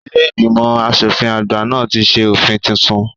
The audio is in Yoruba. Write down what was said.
Ilé ìgbìmọ̀ asòfin àgbà náà ti ṣe òfin titun